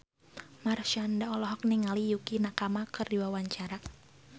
Marshanda olohok ningali Yukie Nakama keur diwawancara